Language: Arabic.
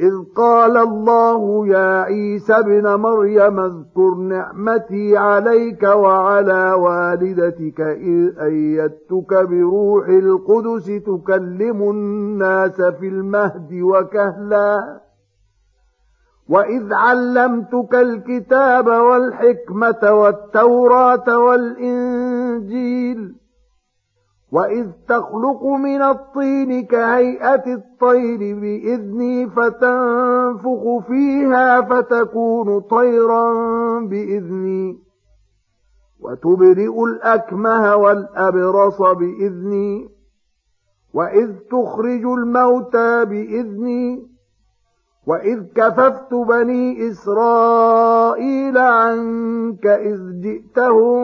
إِذْ قَالَ اللَّهُ يَا عِيسَى ابْنَ مَرْيَمَ اذْكُرْ نِعْمَتِي عَلَيْكَ وَعَلَىٰ وَالِدَتِكَ إِذْ أَيَّدتُّكَ بِرُوحِ الْقُدُسِ تُكَلِّمُ النَّاسَ فِي الْمَهْدِ وَكَهْلًا ۖ وَإِذْ عَلَّمْتُكَ الْكِتَابَ وَالْحِكْمَةَ وَالتَّوْرَاةَ وَالْإِنجِيلَ ۖ وَإِذْ تَخْلُقُ مِنَ الطِّينِ كَهَيْئَةِ الطَّيْرِ بِإِذْنِي فَتَنفُخُ فِيهَا فَتَكُونُ طَيْرًا بِإِذْنِي ۖ وَتُبْرِئُ الْأَكْمَهَ وَالْأَبْرَصَ بِإِذْنِي ۖ وَإِذْ تُخْرِجُ الْمَوْتَىٰ بِإِذْنِي ۖ وَإِذْ كَفَفْتُ بَنِي إِسْرَائِيلَ عَنكَ إِذْ جِئْتَهُم